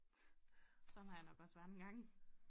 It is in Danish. Sådan har jeg nok også været en gang